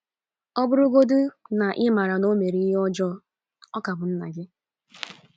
Ọ bụrụgodị na ị maara na o mere ihe ọjọọ, ọ ka bụ nna gị.